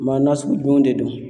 Maa nasugu jumɛn de don?